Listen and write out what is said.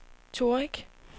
Torrig